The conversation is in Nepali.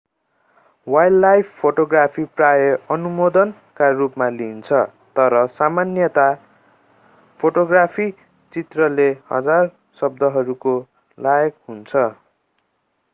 वाइल्डलाइफ फोटोग्राफी प्राय अनुमोदनका रूपमा लिइन्छ तर सामान्यतया फोटोग्राफी चित्रले हजार शब्दहरूको लायक हुन्छ